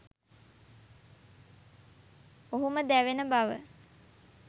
ඔහුම දැවෙන බව